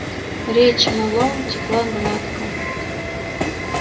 речь мэллоу текла гладко